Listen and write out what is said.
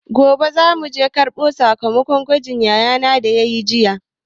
Gobe zamu je karɓo sakamakon gwajin da yayana yayi jiya.